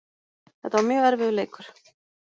Þetta var mjög erfiður leikur